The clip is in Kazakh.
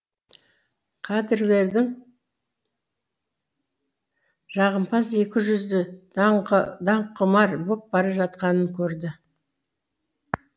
кадрлардың жағымпаз екіжүзді даңққұмар боп бара жатқанын көрді